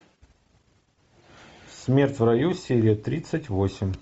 смерть в раю серия тридцать восемь